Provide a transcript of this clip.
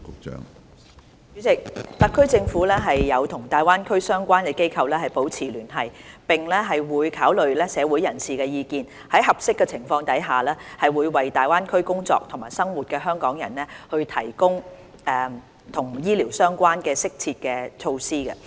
主席，特區政府有與大灣區的相關機構保持聯繫，並會考慮社會人士的意見，在合適的情況下，為在大灣區工作和生活的香港人提供與醫療相關的適切措施。